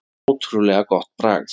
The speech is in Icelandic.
Ótrúlega gott bragð.